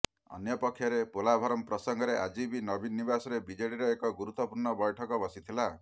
ଅନ୍ୟପକ୍ଷରେ ପୋଲାଭରମ୍ ପ୍ରସଙ୍ଗରେ ଆଜି ନବୀନ ନିବାସରେ ବିଜେଡିର ଏକ ଗୁରୁତ୍ୱପୂର୍ଣ୍ଣ ବୈଠକ ବସିଥିଲା